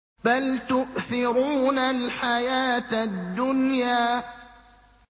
بَلْ تُؤْثِرُونَ الْحَيَاةَ الدُّنْيَا